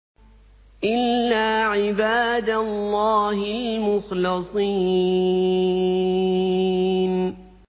إِلَّا عِبَادَ اللَّهِ الْمُخْلَصِينَ